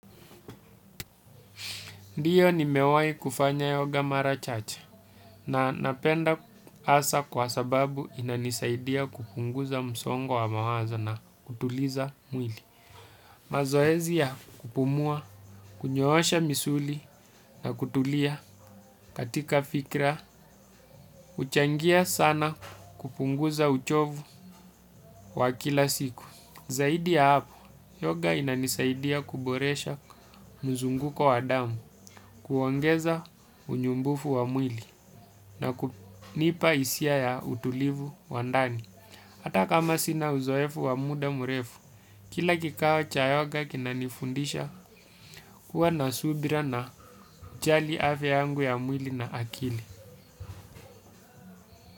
Ndiyo nimewahi kufanya yoga mara chache na napenda hasa kwa sababu inanisaidia kupunguza msongo wa mawazo na kutuliza mwili. Mazoezi ya kupumua, kunyoosha misuli na kutulia katika fikra, huchangia sana kupunguza uchovu wa kila siku. Zaidi ya hapo yoga inanisaidia kuboresha mzunguko wa damu kuongeza unyumbufu wa mwili na kunipa hisia ya utulivu wa ndani hata kama sina uzoefu wa muda mrefu, kila kikao cha yoga kinanifundisha kuwa na subira na jali afya yangu ya mwili na akili.